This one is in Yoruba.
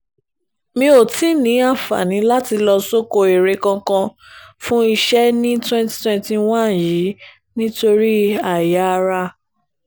mi ò tí ì ní àǹfààní láti lọ sóko eré kankan fún iṣẹ́ ní twenty twenty one yìí nítorí àìyáàrá